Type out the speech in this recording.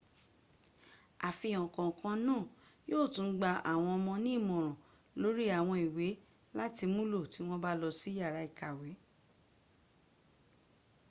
àfihàn kọ̀ọ̀kan náà yíò tún gba àwọn ọmọ ní ìmòràn lórí àwọn ìwé láti múlò tí wọn bá lọ sí yàrá ìkàwẹ́